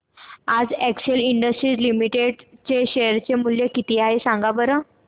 आज Excel Industries Limited चे share चे मूल्य किती आहे सांगा बरं